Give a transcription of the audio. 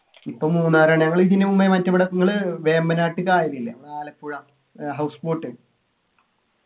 ഇപ്പൊ മൂന്നാറാണ് ഞങ്ങള് ഇതിനു മുമ്പേ മറ്റേ ഇവിടെ നിങ്ങള് വേമ്പനാട്ട് കായലില്ലേ നമ്മളെ ആലപ്പുഴ ഏർ house boat